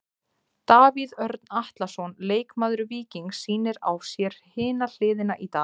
Davíð Örn Atlason, leikmaður Víkings sýnir á sér hina hliðina í dag.